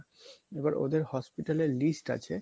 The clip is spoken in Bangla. এবার ওদের hospital এর list আছে